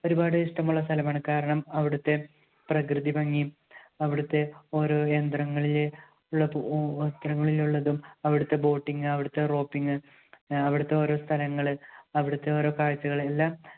ഒരുപാട് ഇഷ്ടമുള്ള സ്ഥലമാണ്. കാരണം അവിടുത്തെ പ്രകൃതിഭംഗിയും അവിടുത്തെ ഓരോ യന്ത്രങ്ങളിലെ ഉള്ള യന്ത്രങ്ങളിലുള്ളതും അവിടുത്തെ boating, അവിടുത്തെ roping, ആഹ് അവിടുത്തെ ഓരോ സ്ഥലങ്ങള്, അവിടുത്തെ ഓരോ കാഴ്ചകള്, എല്ലാം